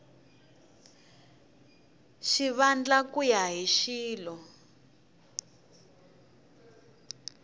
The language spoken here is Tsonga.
xivandla ku ya hi xilo